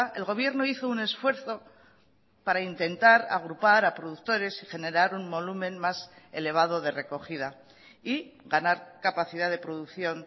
el gobierno hizo un esfuerzo para intentar agrupar a productores y generar un volumen más elevado de recogida y ganar capacidad de producción